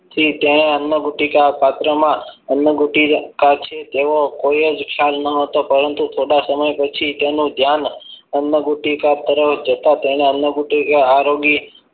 પછી તેમણે અન્ય ગુટિકા પાત્રમાં અન્ય ગુટિકા સાથે તેઓ કોઇ જ ખ્યાલ ન હતો પરંતુ થોડા સમય પછી તેનું ધ્યાન અન્નગુટિકા તરફ જતા તેના અન્ન ગુટિકા આરોગી